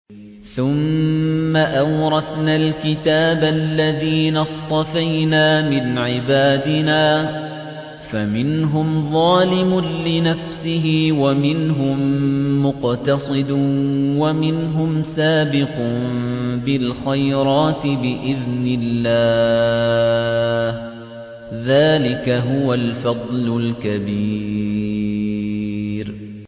ثُمَّ أَوْرَثْنَا الْكِتَابَ الَّذِينَ اصْطَفَيْنَا مِنْ عِبَادِنَا ۖ فَمِنْهُمْ ظَالِمٌ لِّنَفْسِهِ وَمِنْهُم مُّقْتَصِدٌ وَمِنْهُمْ سَابِقٌ بِالْخَيْرَاتِ بِإِذْنِ اللَّهِ ۚ ذَٰلِكَ هُوَ الْفَضْلُ الْكَبِيرُ